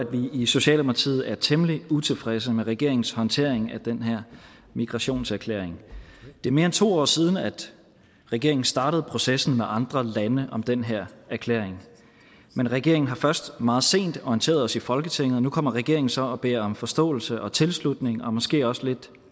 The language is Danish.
i socialdemokratiet er temmelig utilfredse med regeringens håndtering af den her migrationserklæring det er mere end to år siden at regeringen startede processen med andre lande om den her erklæring men regeringen har først meget sent orienteret os i folketinget og nu kommer regeringen så og beder om forståelse og tilslutning og måske også lidt